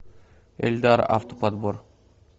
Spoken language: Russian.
эльдар автоподбор